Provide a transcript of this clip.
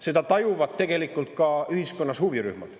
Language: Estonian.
Seda tajuvad tegelikult ka ühiskonna huvirühmad.